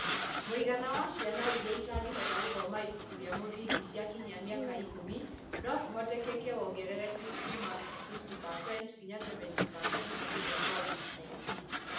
Mũigana wa ciana iria itangĩhota gũthoma ibuku rĩa mũthingi ikinyia mĩaka ikũmi no kũhoteke wongerereke kuuma 50% nginya 70% nĩ ũndũ wa COVID-19.